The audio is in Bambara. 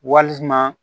Walima